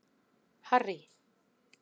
Harry